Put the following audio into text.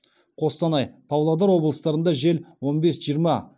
қостанай павлодар облыстарында жел он бес жиырма